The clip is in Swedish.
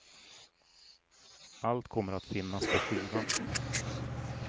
Allt kommer att finnas på skivan.